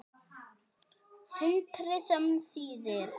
Sindri: Sem þýðir?